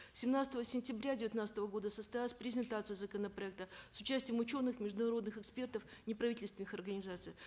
семнадцатого сентября девятнадцатого года состоялась презентация законопроекта с участием ученых международных экспертов неправительственных организаций